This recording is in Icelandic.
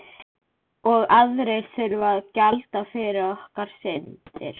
Og aðrir þurfa að gjalda fyrir okkar syndir.